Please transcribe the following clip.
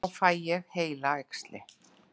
Þá fæ ég heilaæxli.